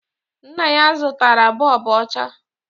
Nna ya zụtara bọọbụ ọcha